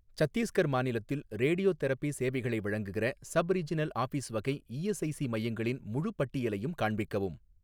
சத்தீஸ்கர் மாநிலத்தில் ரேடியோதெரபி சேவைகளை வழங்குகிற சப் ரீஜினல் ஆஃபீஸ் வகை ஈஎஸ்ஐஸி மையங்களின் முழுப் பட்டியலையும் காண்பிக்கவும்.